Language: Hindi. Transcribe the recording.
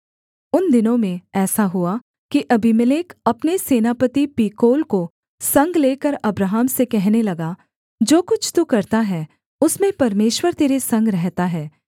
उन दिनों में ऐसा हुआ कि अबीमेलेक अपने सेनापति पीकोल को संग लेकर अब्राहम से कहने लगा जो कुछ तू करता है उसमें परमेश्वर तेरे संग रहता है